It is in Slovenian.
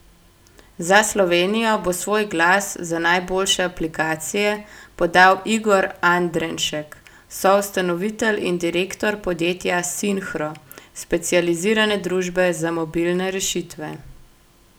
Za Slovenijo bo svoj glas za najboljše aplikacije podal Igor Andrenšek, soustanovitelj in direktor podjetja Sinhro, specializirane družbe za mobilne rešitve.